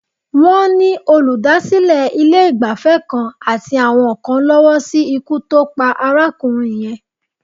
Wọ́n ni olùdásílẹ̀ ilé-ìgbafẹ́ kan àti àwọn kan lọ́wọ́ sí ikú tó pa arákùnrin yẹn.